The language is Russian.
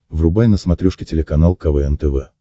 врубай на смотрешке телеканал квн тв